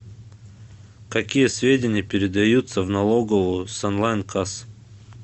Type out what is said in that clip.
какие сведения передаются в налоговую с онлайн касс